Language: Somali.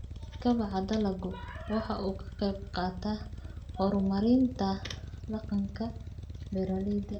Kobaca dalaggu waxa uu ka qayb qaataa horumarinta dhaqanka beeralayda.